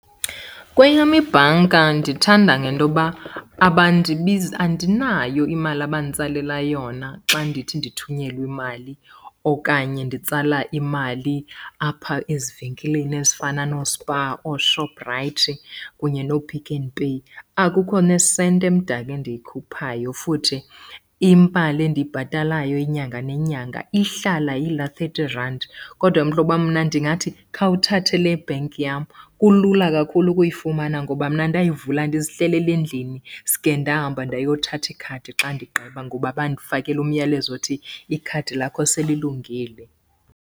Kweyam ibhanka ndithanda ngentoba andinayo imali abanditsalela yona xa ndithi ndithunyelwe imali okanye nditsala imali apha ezivenkileni ezifana nooSpar, ooShoprite kunye nooPick n Pay. Akukho nesenti emdaka endiyikhuphayo, futhi imali endiyibhatalayo inyanga nenyanga ihlala iyilaa thirty rand. Kodwa mhlobam, mna ndingathi khawuthathe le bank yam. Kulula kakhulu ukuyifumana ngoba mna ndayivula ndizihlelele endlini suke ndahamba ndayothatha ikhadi xa ndigqiba, ngoba bandifakela umyalezo othi ikhadi lakho selilungile.